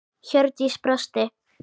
Hjördís brosti.